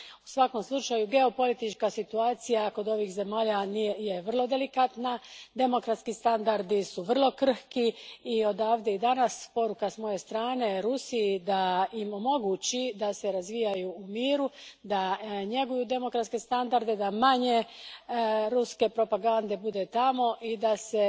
U svakom slučaju, geopolitička situacija ovih zemalja vrlo je delikatna, demokratski standardi vrlo su krhki i odavde, danas, poruka s moje strane Rusiji je da im omogući da se razvijaju u miru, da njeguju demokratske standarde, da manje ruske propagande bude tamo i da se